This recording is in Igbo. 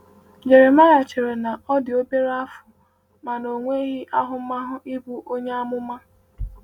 Jeremaịa chere na ọ dị obere afọ ma na ọ nweghị ahụmahụ ịbụ onye amụma.